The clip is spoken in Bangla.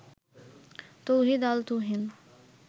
তৌহিদ-আল-তুহিন